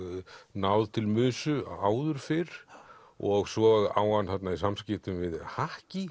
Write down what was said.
náð til áður fyrr og svo á hann þarna í samskiptum við